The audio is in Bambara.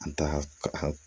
An ta ka